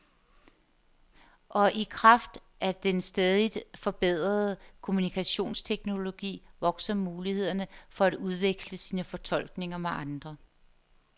Og i kraft af den stadigt forbedrede kommunikationsteknologi vokser mulighederne for at udveksle sine fortolkninger med andre.